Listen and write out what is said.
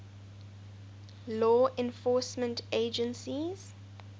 law enforcement agencies